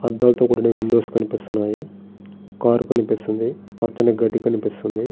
అద్దాలతో కూడిన విండోస్ కనిపిస్తున్నాయి కార్ కనిపిస్తుంది పచ్చని గడ్డి కనిపిస్తుంది.